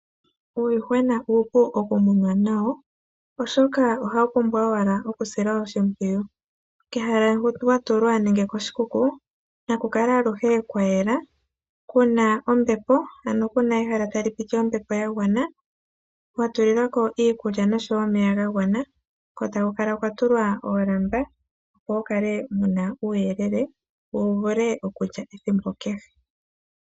Uuyuhwena uupu oku munwa nawo oahoka ohawu pumbwa owala okusilwa oshipwiyu kehala hoka wa tulwa nenge koshikuku naku kale aluhe kwa yela kuna ombepo ano kuna ehala tali piti ombepo ya gwana